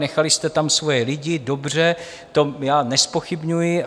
Nechali jste tam svoje lidi, dobře, to já nezpochybňuji.